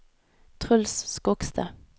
Truls Skogstad